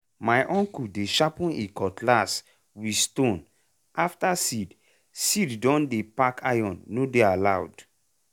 my uncle dey sharpen e cutlass with stone after seed seed don dey pack iron no dey allowed.